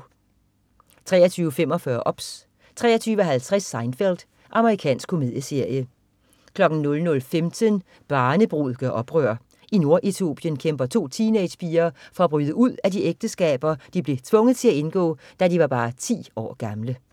23.45 OBS 23.50 Seinfeld. Amerikansk komedieserie 00.15 Barnebrud gør oprør. I Nord-Etiopien kæmper to teenagerpiger for at bryde ud af de ægteskaber, de blev tvunget til at indgå da de var bare ti år gamle